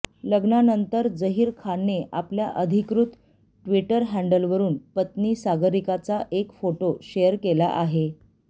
लग्नानंतर झहीर खानने आपल्या अधिकृत ट्विटर हँडलवरून पत्नी सागरिकाचा एक फोटो शेअर केला आहे